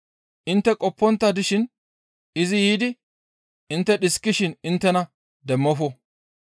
Intte qoppontta dishin izi yiidi intte dhiskidishin inttena demmofo.